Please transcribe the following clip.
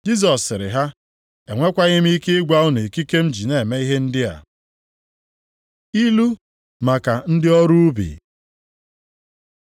Jisọs sịrị ha, “Enwekwaghị m ike ịgwa unu ikike m ji na-eme ihe ndị a.” Ilu maka ndị ọrụ ubi